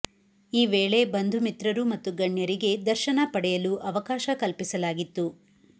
ಈ ವೇಳೆ ಬಂಧು ಮಿತ್ರರು ಮತ್ತು ಗಣ್ಯರಿಗೆ ದರ್ಶನ ಪಡೆಯಲು ಅವಕಾಶ ಕಲ್ಪಿಸಲಾಗಿತ್ತು